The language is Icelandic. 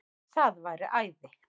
Það væri æði